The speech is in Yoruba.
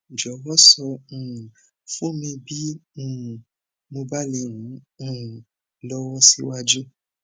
jọwọ sọ um fún mi bí um mo bá lè ran um ọ lọwọ síwájú